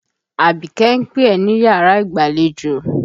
Àbíké ń pé ẹ̀ níyàrá ìgbàlejò.